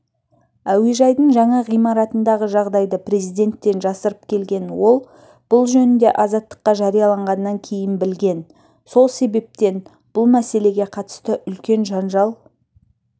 әуежайдың жаңа ғимаратындағы жағдайды президенттен жасырып келген ол бұл жөнінде азаттыққа жарияланғаннан кейін білген сол себептен бұл мәселеге қатысты үлкен жанжал